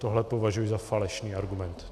Tohle považuji za falešný argument.